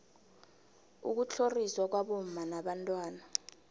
ukutlhoriswa kwabomma nabantwana